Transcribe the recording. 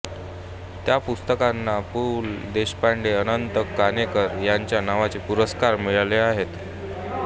त्या पुस्तकांना पु ल देशपांडे अनंत काणेकर यांच्या नावाचे पुरस्कार मिळाले आहेत